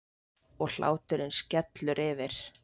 Og hláturinn skellur yfir.